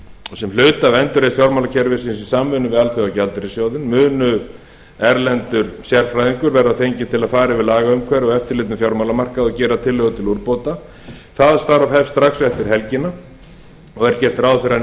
og sem hluta af endurreisn fjármálakerfisins í samvinnu við alþjóðagjaldeyrissjóðinn mun erlendur sérfræðingur verða fenginn til að fara yfir lagaumhverfi og eftirlit með fjármálamarkaði og gera tillögur til úrbóta það starf hefst strax eftir helgina og er gert ráð fyrir að